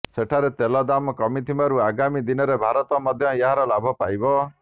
ସେଠାରେ ତେଲ ଦାମ କମିଥିବାରୁ ଆଗାମୀ ଦିନରେ ଭାରତ ମଧ୍ୟ ଏହାର ଲାଭ ପାଇବ